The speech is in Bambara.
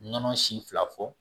Nɔnɔ si fila fɔ